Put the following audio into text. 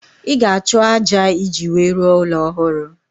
Ị ga-achọ ájá iji wee rụọ ụlọ ọhụrụ